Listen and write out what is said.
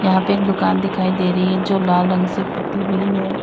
यहां पे एक दुकान दिखाई दे रही है जो लाल रंग से पोती हुई है।